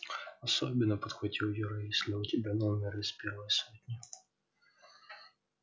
особенно подхватил юра если у тебя номер из первой сотни